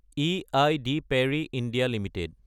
aid Parry (India) Ltd